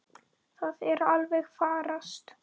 Það er alveg að farast.